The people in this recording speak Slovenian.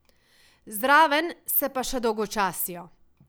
Zraven se pa še dolgočasijo.